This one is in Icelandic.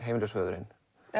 föðurinn